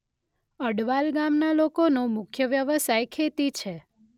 અડવાલ ગામના લોકોનો મુખ્ય વ્યવસાય ખેતી છે.